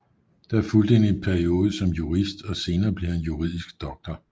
Der fulgte en periode som jurist og senere blev han juridisk doktor